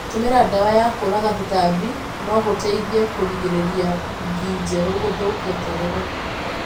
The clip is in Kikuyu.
Gũtũmĩra ndawa ya kũũraga tũtambi no gũteithie kũgirĩrĩria ngi njerũ gũthũkia terere.